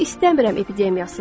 Bu "İstəmirəm" epidemiyasıdır.